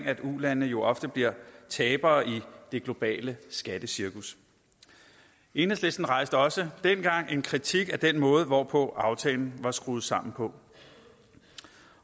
at ulandene jo ofte bliver tabere i det globale skattecirkus enhedslisten rejste også dengang en kritik af den måde hvorpå aftalen var skruet sammen